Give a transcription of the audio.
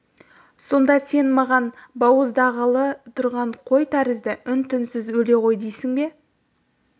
сонда сен маған бауыздағалы тұрған қой тәрізді үн-түнсіз өле ғой дейсің бе